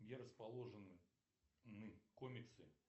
где расположены комиксы